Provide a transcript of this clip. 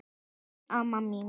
Bless amma mín.